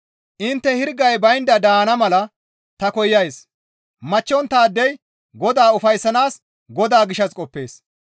Intte hirgay baynda daana mala ta koyays; machchonttaadey Godaa ufayssanaas Godaa gishshas qoppees.